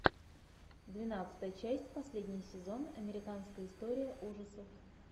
двенадцатая часть последний сезон американская история ужасов